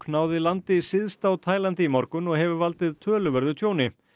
náði landi syðst á Taílandi í morgun og hefur valdið töluverðu tjóni